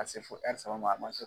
a se fo saba ma a man sɔn.